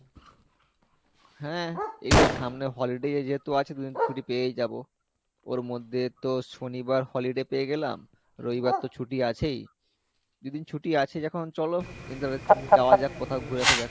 হ্যাঁ এইতো সামনে holiday যেহেতু আছে ছুটি পেয়েই যাবো ওর মধ্যে তো শনিবার holiday পেয়ে গেলাম রবিবার তো ছুটি আছেই দুই দিন ছুটি আছে যখন চলো যাওয়া যাক কোথাও ঘুরে আসা যাক